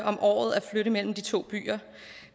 om året at flytte mellem de to byer